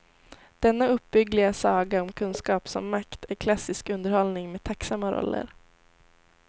Denna uppbyggliga saga om kunskap som makt är klassisk underhållning med tacksamma roller.